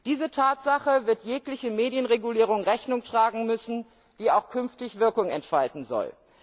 Dieser Tatsache wird jegliche Medienregulierung Rechnung tragen müssen, die auch künftig Wirkung entfalten soll.